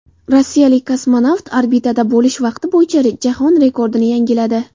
Rossiyalik kosmonavt orbitada bo‘lish vaqti bo‘yicha jahon rekordini yangiladi.